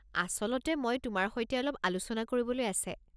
আচলতে মই তোমাৰ সৈতে অলপ আলোচনা কৰিবলৈ আছে।